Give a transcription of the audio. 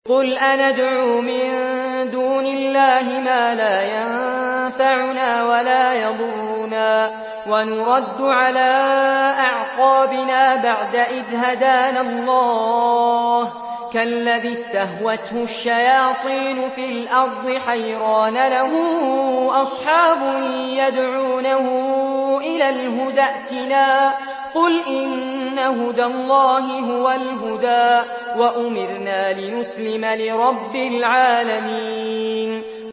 قُلْ أَنَدْعُو مِن دُونِ اللَّهِ مَا لَا يَنفَعُنَا وَلَا يَضُرُّنَا وَنُرَدُّ عَلَىٰ أَعْقَابِنَا بَعْدَ إِذْ هَدَانَا اللَّهُ كَالَّذِي اسْتَهْوَتْهُ الشَّيَاطِينُ فِي الْأَرْضِ حَيْرَانَ لَهُ أَصْحَابٌ يَدْعُونَهُ إِلَى الْهُدَى ائْتِنَا ۗ قُلْ إِنَّ هُدَى اللَّهِ هُوَ الْهُدَىٰ ۖ وَأُمِرْنَا لِنُسْلِمَ لِرَبِّ الْعَالَمِينَ